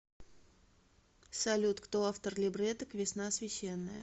салют кто автор либретто к весна священная